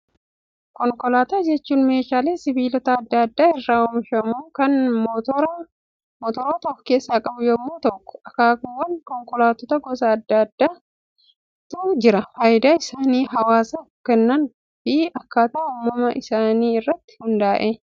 Konkolaataa jechuun meeshaa sibiilota addaa addaa irraa oomishamu, kan motoroota of keessaa qabu yemmuu ta'u, akkaakuuwwan konkolaataa gosa addaa addaatu jiru, fayidaa isaan hawaasaaf kennan fi akkaataa uumama isaa irratti hundaa'ee.